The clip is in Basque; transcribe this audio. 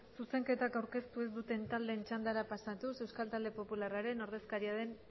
zuzenketa aurkeztu ez duten taldeen txandara pasatuz euskal talde popularraren ordezkaria den